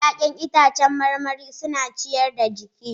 Ya'yan itãcen marmari suna ciyar da jiki